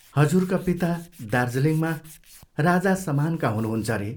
हजुरका पिता दार्जीलिङमा राजासमानका हुनुहुन्छ रे।